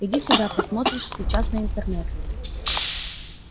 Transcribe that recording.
иди сюда посмотришь сейчас на интернет